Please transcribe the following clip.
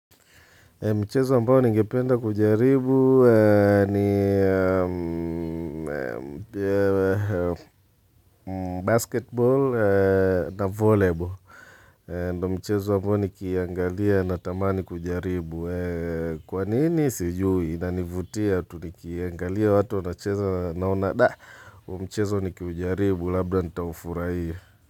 Mchezo ambao ni nigependa kujaribu ni basketball na volleyball. Mchezo ambao nikiangalia natamani kujaribu. Kwa nini sijui nanivutia tu ni kiangalia watu wanacheza naona da. Mchezo ni kiujaribu labda nitaufurahia.